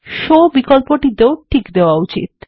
show বিকল্পটিতেও tick করা উচিত